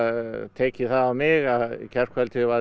tekið það á mig að í gærkvöldi var